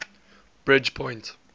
bridgepoint